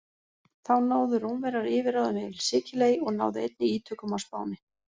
Þá náðu Rómverjar yfirráðum yfir Sikiley og náðu einnig ítökum á Spáni.